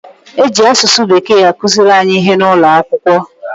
E ji asụsụ Bekee akụziri anyị ihe n'ụlọ akwụkwọ.